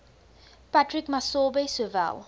patrick masobe sowel